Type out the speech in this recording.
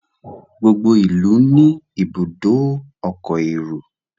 gbogbo ilú ní Ibùdó ọkọ̀ èrò